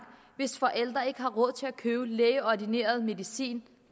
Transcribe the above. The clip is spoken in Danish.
hvis forældre ikke har råd til at købe lægeordineret medicin